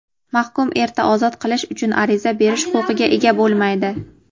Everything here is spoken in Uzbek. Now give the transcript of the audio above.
mahkum erta ozod qilish uchun ariza berish huquqiga ega bo‘lmaydi.